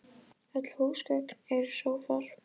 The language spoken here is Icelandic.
Öll húsgögn eru sófar